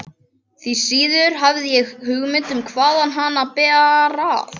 Því síður hafði ég hugmynd um hvaðan hana bar að.